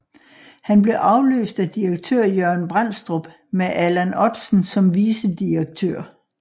Han blev afløst af direktør Jørgen Brændstrup med Allan Ottsen som vicedirektør